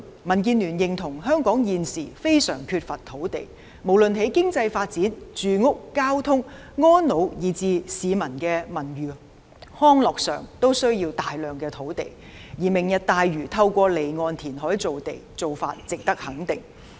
民建聯認同香港現時非常缺乏土地，無論在經濟發展、住屋交通、安老以至市民的文娛康樂都需要大量土地，而"明日大嶼"透過離岸填海造地，做法值得肯定。